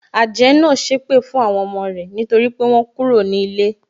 Àjẹ́ náà sépè fún àwọn ọmọ rẹ nítorí pé wọ́n kúrò ní ilé.